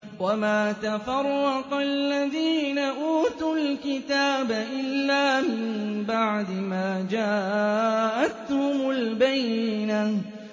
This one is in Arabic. وَمَا تَفَرَّقَ الَّذِينَ أُوتُوا الْكِتَابَ إِلَّا مِن بَعْدِ مَا جَاءَتْهُمُ الْبَيِّنَةُ